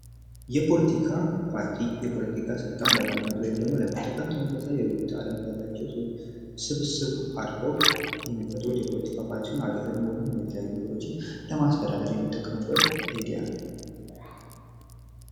የፖለቲካ ፓርቲ የፖለቲካ ሥልጣን ለማግኘት ወይም ደግሞ ለመጠቀም ተመሳሳይ የህይወት ዓለም ያላቸው ሰዎች ስብስብ አድርገው የሚፈጥሩት የፖለቲካ ፓርቲ ሲሆን፤ አገርን ወይንም የተለያዩ ነገሮችን ለማስተዳደር የሚጠቀሙበት ዘዴ ነው።